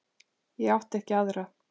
Ég átti ekki aðra.